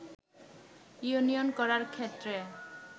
union করার ক্ষেত্রে